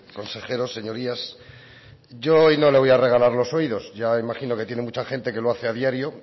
consejeros señorías yo hoy no le voy a regalar los oídos ya imagino que tiene mucha gente que lo hace a diario